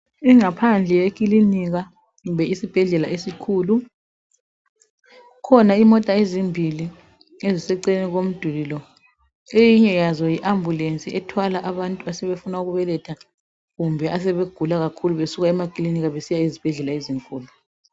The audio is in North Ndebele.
Ingaphandle yikilinika kumbe isibhedlela esikhulu kukhona imota ezimbili eziseceleni komduli lo eyinye yazo yi ambulensi ethwala abantu asebefuna ukubeletha kumbe asebegula kakhulu besuka emakilinika besiya ezibhedlela ezinkulu.